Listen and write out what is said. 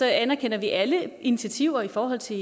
anerkender vi alle initiativer i forhold til